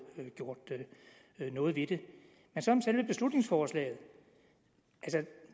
gjort noget ved det men så om selve beslutningsforslaget